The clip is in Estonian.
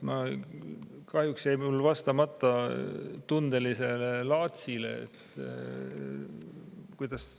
Kahjuks jäi mul vastamata tundelisele Laatsile.